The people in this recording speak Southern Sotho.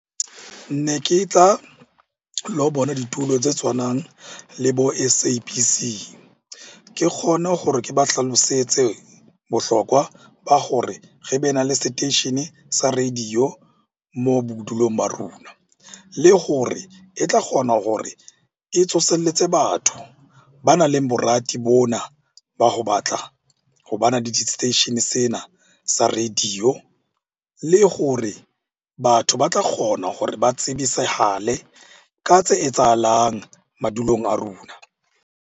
Ne ke tla lo bona tse tshwanang le bo S_A_B_C ke kgone hore ke ba hlalosetse bohlokwa ba hore re be na le seteishene sa radio moo bodulong ba rona. Le hore e tla kgona hore e tsoselletse batho banang le borati bona ba ho batla ho bana le di-station sena sa radio. Le gore batho ba tla kgona gore ba tsebisahale ka tse etsahalang madulong a rona.